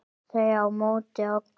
Þau á móti okkur.